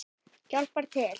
Hjálpar til.